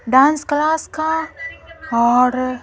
dance class का और--